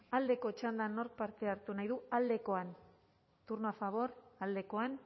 aldeko txandan nork parte hartu nahi du aldekoan turno a favor aldekoan